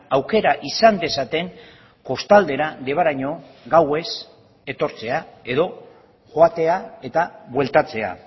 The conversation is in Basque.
aukera izan dezaten kostaldera debaraino gauez etortzea edo joatea eta bueltatzea